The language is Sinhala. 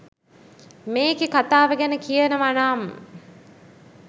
මේකෙ කතාව ගැන කියනවනම්